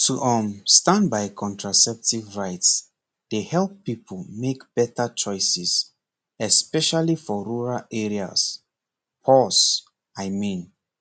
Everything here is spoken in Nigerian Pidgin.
to um stand by contraceptive rights dey help people make better choices especially for rural areas pause i mean